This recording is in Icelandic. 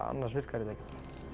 annars virkar þetta ekki